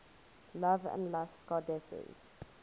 love and lust goddesses